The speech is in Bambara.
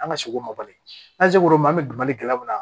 An ka seg'o ma bali n'an ser'o ma an bɛ malikɛla mun na